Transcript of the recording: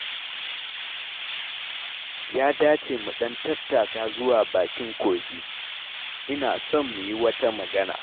Ya dace mu ɗan tattaka zuwa bakin kogi, ina son mui wata magana.